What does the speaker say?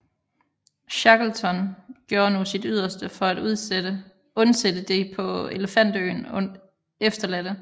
Shackleton gjorde nu sit yderste for at undsætte de på Elefantøen efterladte